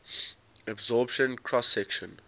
absorption cross section